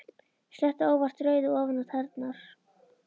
Sletti óvart rauðu ofan á tærnar.